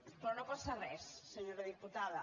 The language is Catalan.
però no passa res senyora diputada